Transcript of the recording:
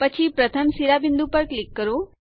પછી પ્રથમ શિરોબિંદુ પર ક્લિક કરો